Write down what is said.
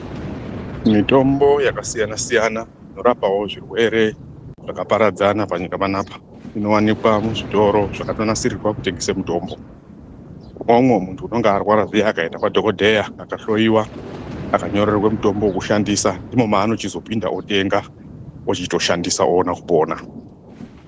Mitombo yakasiyana siyana inorapawo zvirwere zvakaparadzana panyika panapa. Inowanikwa muzvitoro zvakatonasirirwa kutengese mitombo. Kune umwe muntu unenge arwara zviya akaenda kwadhokodheya, akahloyiwa akanyorerwe mutombo wekushandisa ndimo maano chizopinda otenga, ochito shandisa oona kupona.